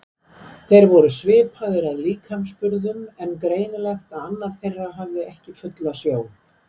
Þeir voru svipaðir að líkamsburðum en greinilegt að annar þeirra hafði ekki fulla sjón.